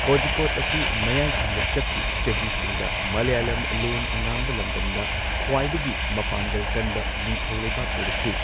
ꯀꯣꯖꯤꯀꯣꯗ ꯑꯁꯤ ꯃꯌꯥꯏ ꯊꯪꯕ ꯆꯛꯀꯤ ꯆꯍꯤꯁꯤꯡꯗ ꯃꯂꯌꯥꯂꯝ ꯂꯣꯟ ꯉꯥꯡꯕ ꯂꯝꯗꯝꯗ ꯈ꯭ꯋꯥꯏꯗꯒꯤ ꯃꯄꯥꯡꯒꯜ ꯀꯟꯕ ꯅꯤꯡꯊꯧ ꯂꯩꯕꯥꯛ ꯑꯣꯏꯔꯛꯈꯤ꯫